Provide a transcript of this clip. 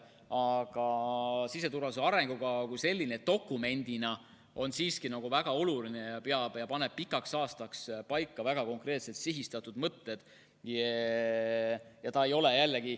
Aga siseturvalisuse arengukava on dokumendina siiski väga oluline ja paneb pikaks ajaks paika väga konkreetselt sihistatud mõtted.